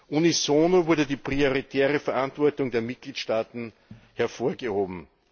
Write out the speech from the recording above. Unisono wurde die prioritäre Verantwortung der Mitgliedstaaten hervorgehoben.